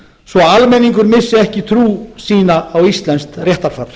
svo að almenningur missi ekki trú sína á íslenskt réttarfar